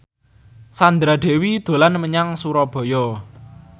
Sandra Dewi dolan menyang Surabaya